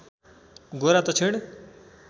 गोरा दक्षिण